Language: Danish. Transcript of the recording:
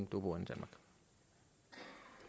boet og